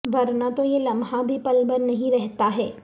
ورنہ تو یہ لمحہ بھی پل بھر نہیں رہتا ہے